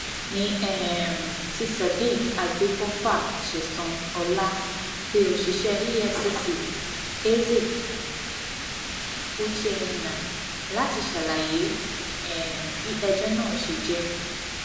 ní um ti sodiq agbèfọfà sẹsan ọlá pé òṣìṣẹ efcc eze u chennai láti ṣàlàyé um bí ẹjọ náà ṣe jẹ